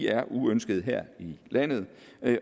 er uønsket her i landet